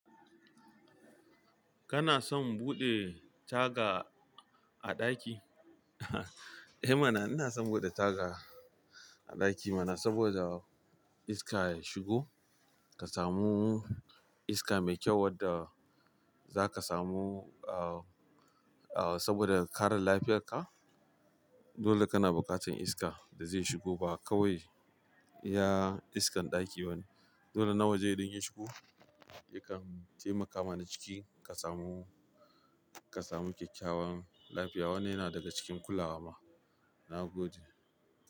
Kana son buɗe taga a ɗaki? Eh mana, ina son buɗe taga a ɗaki mana saboda iska ya shigo. Ka samu iska mai kyau wadda zaka samu, ah, ah, saboda kare lafiyarka. Dole kana bukatan iska da zai shigo ba kawai iya iskan ɗaki ba ne. Dole na waje idan ya shigo. Yakan taimaka mana ciki ka samu, ka samu kyakkyawan lafiya. Wannan yana daga cikin kulawa ma. Nagode.